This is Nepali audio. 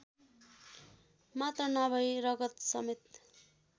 मात्र नभई रगतसमेत